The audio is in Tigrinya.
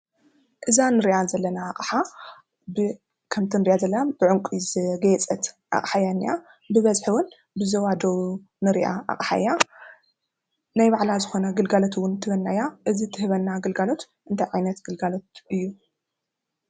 እዛ እንሪኣ ዘለና ኣቕሓ ብ ከምቲ እንሪኣ ዘለና ብዕንቒ ዘግየፀት ኣቕሓ እያ ዝናኣ። ብበዝሒ እውን ብዞባ ደቡብ እትረኣ ኣቕሓ እያ። ናይ ባዕላ ዝኾነ ግልጋሎት እውን ትህበና እያ ። እዚ ትህበና ግልጋሎት እንታይ ዓይነት ግልጋሎት እዩ ?